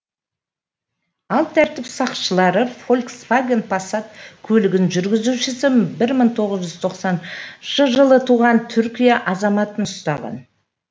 ал тәртіп сақшылары фольксваген пассат көлігінің жүргізушісі бір мың тоғыз жүз тоқсаныншы жылы туған түркия азаматын ұстаған